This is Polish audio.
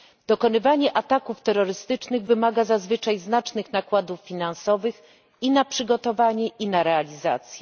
Dokonywanie ataków terrorystycznych wymaga zazwyczaj znacznych nakładów finansowych i na przygotowanie, i na realizację.